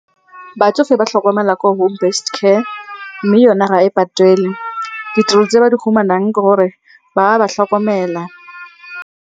Batsofe ba tlhokomelwa ko home based care, mme yona ga e patelwe. Ditirelo tse ba di fumanang ke gore ba ba tlhokomela.